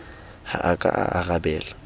ha a ka a arabela